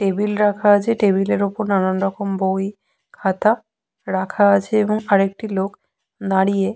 Table রাখা আছে। Table -এর উপর নানানরকম বই খাতা রাখা আছে এবং আরেকটি লোক দাঁড়িয়ে।